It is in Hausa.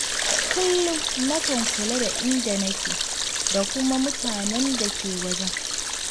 Kullum na kan kula da inda nake, da kuma mutanen da ke wajen.